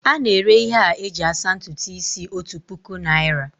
A na-ere ihe a eji asa ntutu isi otu puku naira